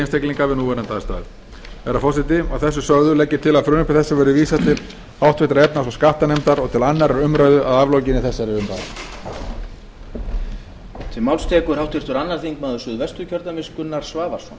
einstaklinga við aðstæður eins og þær eru nú virðulegi forseti að þessu sögðu legg ég til að frumvarpi þessu verði vísað til háttvirtrar efnahags og skattanefndar og til annarrar umræðu að aflokinni þessari umræðu